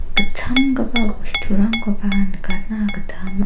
gitchamgipa bosturangko nikatna gita man--